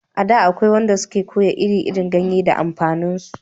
A da akwai wanda su ke koya ire iren ganye da amfanin su